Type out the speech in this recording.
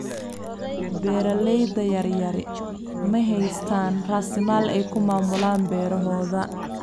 Beeralayda yaryari ma haystaan ??raasamaal ay ku maamulaan beerahooda.